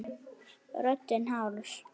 Röddin hás.